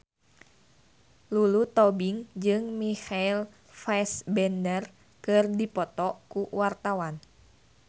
Lulu Tobing jeung Michael Fassbender keur dipoto ku wartawan